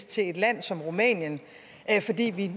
til et land som rumænien fordi vi